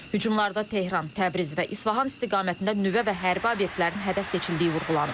Hücumlarda Tehran, Təbriz və İsfahan istiqamətində nüvə və hərbi obyektlərin hədəf seçildiyi vurğulanıb.